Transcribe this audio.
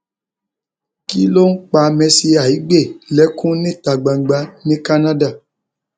kí ló ń pa mercy aigbe lẹkùn níta gbangba ní canada